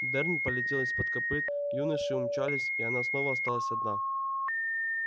дёрн полетел из-под копыт юноши умчались и она снова осталась одна